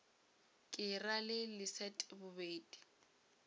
ke ra le leset bobedi